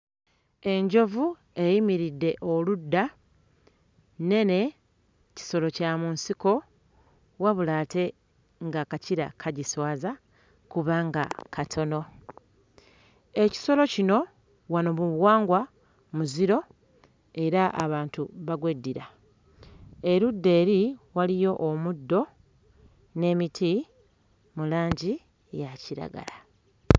Enjovu eyimiridde oludda, nnene kisolo kya mu nsiko wabula ate ng'akakira kagiswaza kubanga katono. Ekisolo kino wano mu buwangwa muziro era abantu bagweddira erudda eri waliyo omuddo n'emiti mu langi n'emiti mu langi ya kiragala.